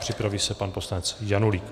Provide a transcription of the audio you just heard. Připraví se pan poslanec Janulík.